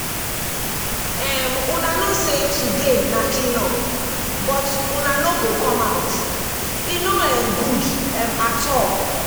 um una know say today na clean up but una no go come out e no um good um at all